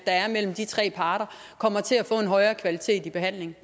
er mellem de tre parter kommer til at få en højere kvalitet i behandlingen